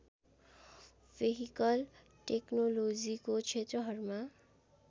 vehicle टेक्नोलोजीको क्षेत्रहरूमा